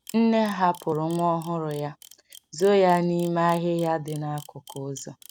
Nne hapụrụ nwa ọhụrụ ya, zoo ya n’ime ahịhịa dị n’akụkụ ụzọ.